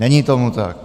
Není tomu tak.